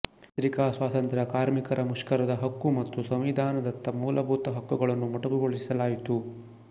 ಪತ್ರಿಕಾ ಸ್ವಾತಂತ್ರ್ಯ ಕಾರ್ಮಿಕರ ಮುಷ್ಕರದ ಹಕ್ಕು ಮತ್ತು ಸಂವಿಧಾನದತ್ತ ಮೂಲಭೂತ ಹಕ್ಕುಗಳನ್ನು ಮೊಟಕುಗೊಳಿಸಲಾಯಿತು